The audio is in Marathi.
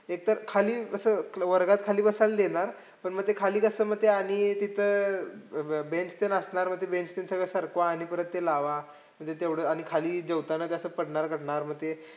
एकतर खाली म्हणजे असं वर्गात खाली बसायला देणार. पण मग खाली कसं ते मध्ये आणि तिथं अं bench ते ण असणार मग ते bench पण सगळं सरकवा आणि परत ते लावा. म्हणजे तेवढं आणि खाली जेवताना ते असं पडणार झडणार मग ते